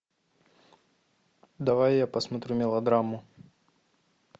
давай я посмотрю мелодраму